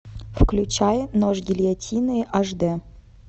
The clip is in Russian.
включай нож гильотины ашдэ